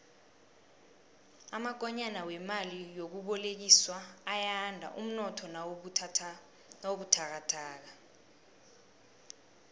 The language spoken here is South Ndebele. amakonyana wemali yokubolekiswa ayanda umnotho nawubuthakathaka